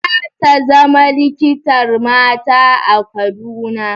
Za ta zama likitar mata a Kaduna?